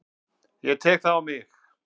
Ég tek það á mig.